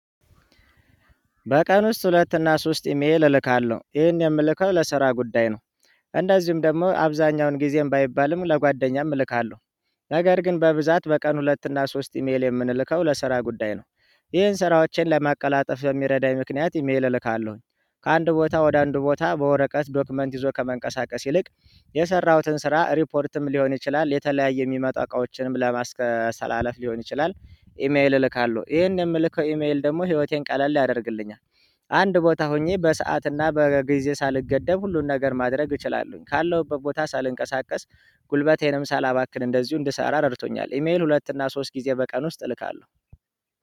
በቀን ውስጥ ሁለት እና ሶስት ኢሜል እልካለሁ ይሄን የምልከው ለስራ ጉዳይ ነው። እንደዚሁም ደግሞ አብዛኛውን ጊዜም ባይባልም ለጓደኛም እልካለሁ። ነገር ግን በብዛት በቀን ሁለት እና ሶስት ኢሜል የምንልከው ለስራ ጉዳይ ነው። ይሄን ስራዎቼን ለማቀላጠፍ በሚረዳኝ ምክንያት ኢሜል እልካለሁኝ ከአንድ ቦታ ወደ አንድ ቦታ በወረቀት ዶክመንት ይዞ ከመንቀሳቀስ ይልቅ የሰራሁትን ስራ ሪፖርትም ሊሆን ይችላል የተለያየ የሚመጣ እቃዎችንም ለማስተላለፍ ሊሆን ይችላል። ኢሜል እልካለሁ ይሄን የምልከው ኢሜል ደግሞ ህይወቴን ቀለል ያደርግልኛል። አንድ ቦታ ሆኜ በሰአትና በጊዜ ሳልገደብ ሁሉን ነገር ማድረግ እችላለሁኝ ካለሁበት ቦታ ሳልንቀሳቀስ። ጉልበቴንም ሳላባክን እንደዚሁ እንድሰራ ረድቶኛል። ኢሜል ሁለት እና ሶስት ጊዜ በቀን ውስጥ እልካለሁ።